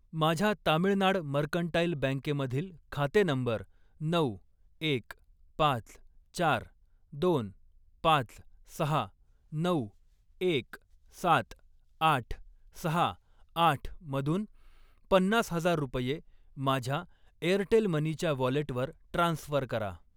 माझ्या तामिळनाड मर्कंटाइल बँके मधील खाते नंबर नऊ, एक, पाच, चार, दोन, पाच, सहा, नऊ, एक, सात, आठ, सहा, आठ मधून पन्नास हजार रुपये माझ्या एअरटेल मनी च्या वॉलेटवर ट्रान्स्फर करा.